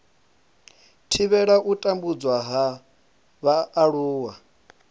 thivhela u tambudzwa ha vhaaluwa